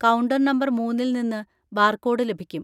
Counter number മൂന്നിൽ നിന്ന് barcode ലഭിക്കും.